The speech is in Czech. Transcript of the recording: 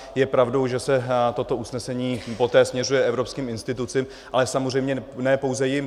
Je pravdou, že se toto usnesení poté směřuje evropským institucím, ale samozřejmě ne pouze jim.